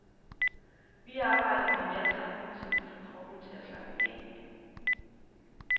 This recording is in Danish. Vi arbejder med vejrtrækning, som kan få kroppen til at slappe af.